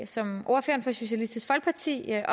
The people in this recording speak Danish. som ordføreren fra socialistisk folkeparti